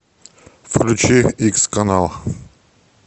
включи икс канал